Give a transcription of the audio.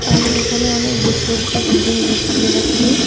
আমি এখানে অনেক উঁচু একটি বিল্ডিং দেখতে পাচ্ছি.